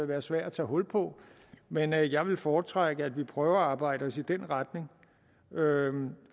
være svær at tage hul på men jeg jeg vil foretrække at vi prøver at arbejde os i den retning